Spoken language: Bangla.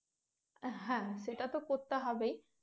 হ্যাঁ সেটা তো করতে হবেই